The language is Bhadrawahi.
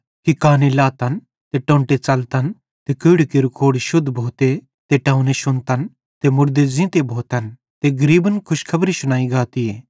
कि काने लातन ते टोन्टे च़लतन ते कोढ़ी केरू कोढ़ शुद्ध भोते ते टोंऊने शुन्तन ते मुड़दे ज़ींते भोतन ते गरीबन खुशखबरी शुनाई गातीए